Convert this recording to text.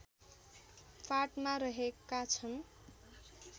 फाँटमा रहेका छन्